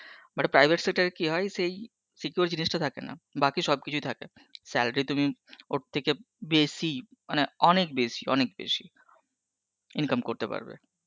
Un but private sector এ কি হয় সেই secure জিনিসটা থাকে না বাকি সব কিছুই থাকে, salary তুমি ওর থেকে বেসি মানে অনেক বেসি অনেক বেসি income করতে পারবে